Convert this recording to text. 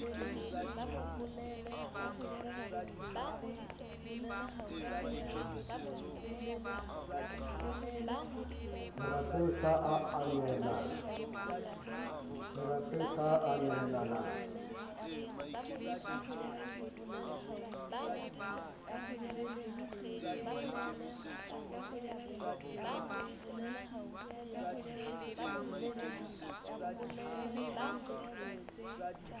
serapeng sa a a nehelane